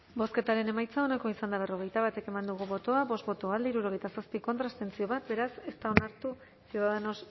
bozketaren emaitza onako izan da hirurogeita hamairu eman dugu bozka bost boto alde hirurogeita zazpi contra bat abstentzio beraz ez da onartu ciudadanos